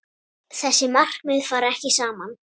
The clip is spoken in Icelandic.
Þessi markmið fara ekki saman.